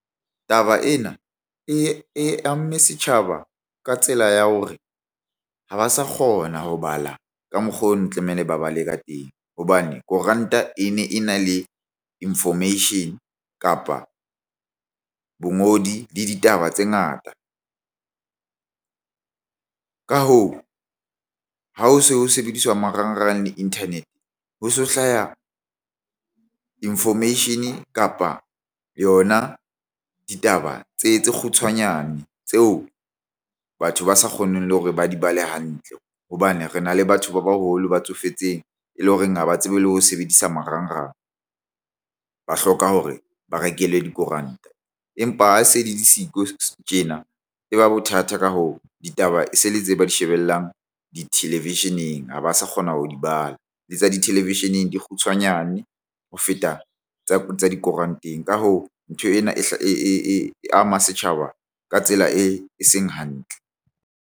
Taba ena e amme setjhaba ka tsela ya hore ha ba sa kgona ho bala ka mokgo ne tlamehile ba bale ka teng hobane koranta e ne e na le information kapa bangodi le ditaba tse ngata. Ka hoo, ha ho se ho sebediswa marangrang le internet ho so hlaya information kapa yona ditaba tse kgutshwanyane tseo batho ba sa kgoneng le hore ba di bale hantle hobane re na le batho ba baholo ba tsofetseng e le horeng haba tsebe le ho sebedisa marangrang ba hloka hore ba rekele dikoranta. Empa ha se di le siko tjena e ba bothata. Ka hoo, ditaba e se le tse ba di shebellang di-television-eng ha ba sa kgona ho di bala le tsa di television-eng di kgutshwanyane ho feta tsa tsa dikoranteng. Ka hoo, ntho ena e ama setjhaba ka tsela e seng hantle.